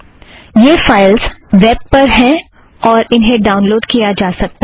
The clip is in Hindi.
ये फ़ाइलज़ वैब पर हैं और उन्हें ड़ाउन लोड़ किया जा सकता है